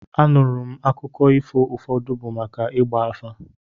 Anụrụ m n'akụkọ ifo ụfọdụ bụ maka ịgba afa.